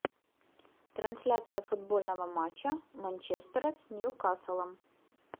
трансляция футбольного матча манчестера с ньюкаслом